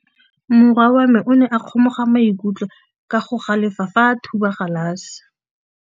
Morwa wa me o ne a kgomoga maikutlo ka go galefa fa a thuba galase.